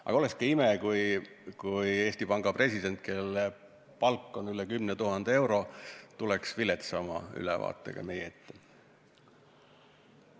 Aga oleks ka ime, kui Eesti Panga president, kelle palk on üle 10 000 euro, tuleks viletsama ülevaatega meie ette.